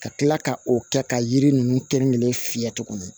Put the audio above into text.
Ka kila ka o kɛ ka yiri ninnu kɛn kelen fiyɛ tuguni